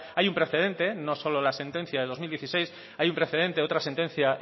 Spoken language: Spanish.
hay un precedente no solo la sentencia del dos mil dieciséis hay un precedente de otra sentencia